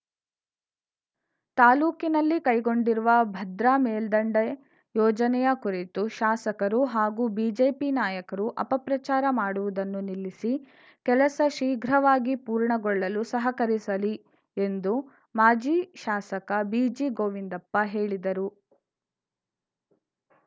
ತಾಲೂಕಿನಲ್ಲಿ ಕೈಗೊಂಡಿರುವ ಭದ್ರಾ ಮೇಲ್ದಂಡೆ ಯೋಜನೆಯ ಕುರಿತು ಶಾಸಕರು ಹಾಗೂ ಬಿಜೆಪಿ ನಾಯಕರು ಅಪಪ್ರಚಾರ ಮಾಡುವುದನ್ನು ನಿಲ್ಲಿಸಿ ಕೆಲಸ ಶೀಘ್ರವಾಗಿ ಪೂರ್ಣಗೊಳ್ಳಲು ಸಹಕರಿಸಲಿ ಎಂದು ಮಾಜಿ ಶಾಸಕ ಬಿಜಿ ಗೋವಿಂದಪ್ಪ ಹೇಳಿದರು